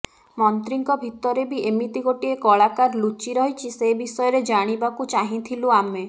ମନ୍ତ୍ରୀଙ୍କ ଭିତରେ ବି ଏମିତି ଗୋଟିଏ କଳାକାର ଲୁଚି ରହିଛି ସେ ବିଷୟରେ ଜାଣିବାକୁ ଚାହିଁଥିଲୁ ଆମେ